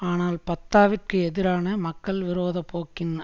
ஆனால் ஃபத்தாவிற்கு எதிரான மக்கள் விரோத போக்கின்